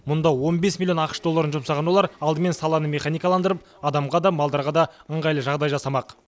мұнда он бес млн ақш долларын жұмсаған олар алдымен саланы механикаландырып адамға да малдарға да ыңғайлы жағдай жасамақ